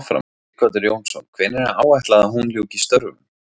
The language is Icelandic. Sighvatur Jónsson: Hvenær er áætlað að hún ljúki störfum?